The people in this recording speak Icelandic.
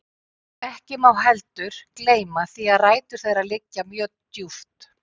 Ekki má heldur gleyma því að rætur þeirra liggja mjög djúpt.